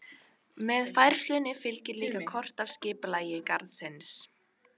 Með færslunni fylgir líka kort af skipulagi garðsins.